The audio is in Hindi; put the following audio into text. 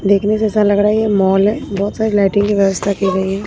देखने से ऐसा लग रहा है ये मॉल है बहुत सारे लाइटिंग की व्यवस्था की गई है।